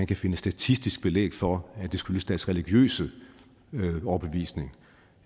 kan finde statistisk belæg for at det skyldes deres religiøse overbevisning